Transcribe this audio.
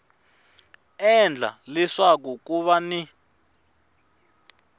endla leswaku ku va ni